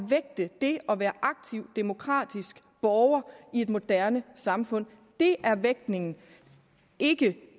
vægte det at være aktiv demokratisk borger i et moderne samfund det er vægtningen ikke